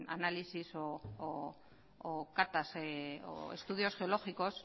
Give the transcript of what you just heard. análisis o catas o estudios geológicos